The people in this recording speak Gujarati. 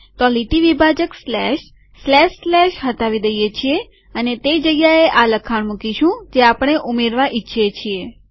તો લીટી વિભાજક સ્લેશ સ્લેશ સ્લેશ હટાવી દઈએ છીએ અને તે જગ્યાએ આ લખાણ મુકીશું જે આપણે ઉમેરવા ઈચ્છીએ છીએ